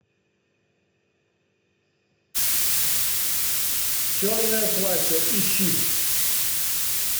черное платье ищи